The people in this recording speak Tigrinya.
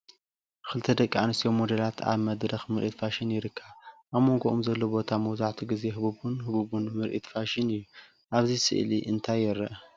ክልተ ደቂ ኣንስትዮ ሞዴላት ኣብ መድረኽ ምርኢት ፋሽን ይርከባ። ኣብ መንጎኦም ዘሎ ቦታ መብዛሕትኡ ግዜ ህቡብን ህቡብን ምርኢት ፋሽን እዩ። ኣብቲ ስእሊ እንታይ ይርአ?